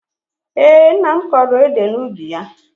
Ee, nna m kọrọ ede n'ubi ya